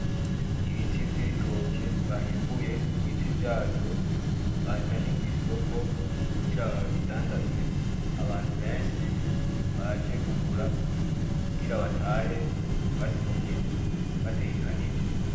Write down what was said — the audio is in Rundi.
Ibiti vy'ibitoke bahimbuye ku biti vyazo bazanye kw'isoko kugira babidandaze abantu benshi baje kugura kugira batahe basumye batekanije.